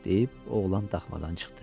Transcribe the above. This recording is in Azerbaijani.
deyib oğlan daxmadan çıxdı.